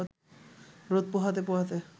রোদ পোহাতে পোহাতে